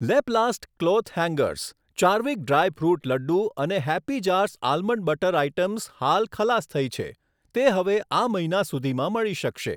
Laplast cloth hangers, ચાર્વિક dry fruit laddu અને Happy Jars almond butter items હાલ ખલાસ થઈ છે, તે હવે આ મહિના સુધીમાં મળી શકશે.